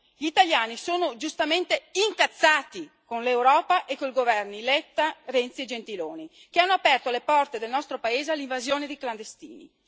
Gli italiani sono giustamente incazzati con l'Europa e con i governi Letta, Renzi e Gentiloni, che hanno aperto le porte del nostro paese all'invasione di clandestini.